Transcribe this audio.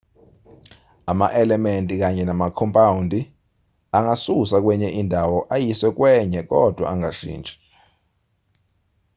ama-elementi kanye namakhompawundi angasuswa kwenye indawo ayiswe kwenye kodwa angashintshi